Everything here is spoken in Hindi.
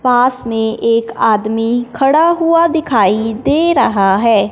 पास में एक आदमी खड़ा हुआ दिखाई दे रहा है।